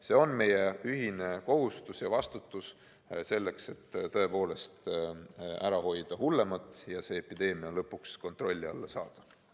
See on meie ühine kohustus ja vastutus, tõepoolest, hoida ära hullemat ja epideemia lõpuks kontrolli alla saada.